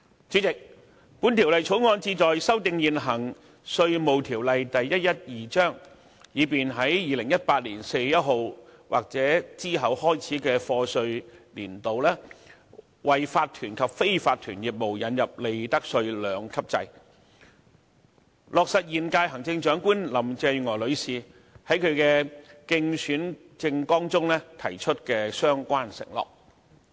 主席，《條例草案》旨在修訂現行《稅務條例》，以便在2018年4月1日開始的課稅年度，為法團及非法團業務引入利得稅兩級制，落實現屆行政長官林鄭月娥女士在其競選政綱中提出的相關承諾。